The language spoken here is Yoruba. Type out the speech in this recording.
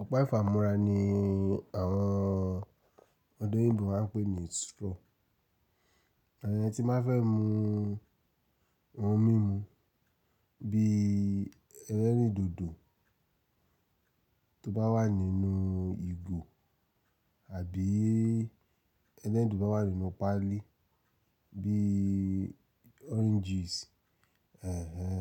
Ọ̀pá ìfámora ní àwọn ọdọ̀ yìnbó máa ń pè ní straw. Ìyẹn tí má fẹ́ mu ohun mímu bí elerin dodo tó bá wà nínú ìgò àbí ẹlẹ́rìndòdò tó bá wà nínú páálí bí oranges. Èhèh èhè